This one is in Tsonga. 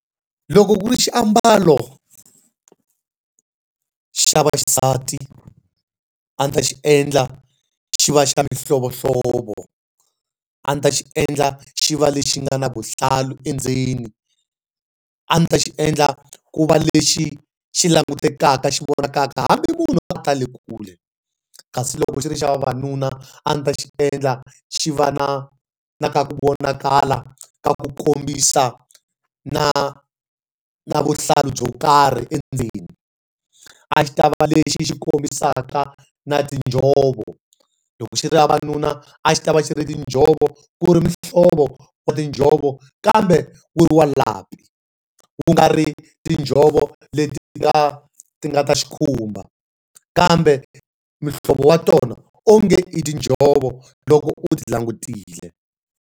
Loko ku ri xiambalo xa vaxisati a ni ta xi endla xi va xa mihlovohlovo. A ndzi ta xi endla xi va lexi nga na vuhlalu endzeni. A ndzi ta xi endla ku va lexi xi langutekaka xi vonakaka hambi munhu a ta le kule. Kasi loko xi ri xa vavanuna, a ndzi ta xi endla xi va na na ka ku vonakala ka ku kombisa na na vuhlalu byo karhi endzeni. A xi ta va lexi xi kombisaka na tinjhovo. Loko xi ri xa vavanuna, a xi ta va xi ri tinjhovo, ku ri muhlovo wa tinjhovo, kambe wu ri wa lapi. Ku nga ri tinjhovo leti ti nga ti nga ta xikhumba, kambe muhlovo wa tona onge i tinjhovo loko u ti langutile.